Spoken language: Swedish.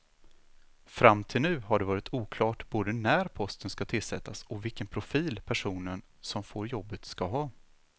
Fram till nu har det varit oklart både när posten ska tillsättas och vilken profil personen som får jobbet ska ha.